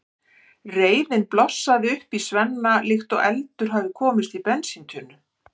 Reiðin blossar upp í Svenna líkt og eldur hafi komist í bensíntunnu.